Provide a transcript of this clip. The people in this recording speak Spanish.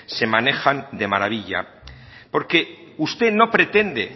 se manejan de maravilla porque usted no pretende